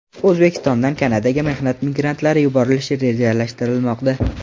O‘zbekistondan Kanadaga mehnat migrantlari yuborilishi rejalashtirilmoqda.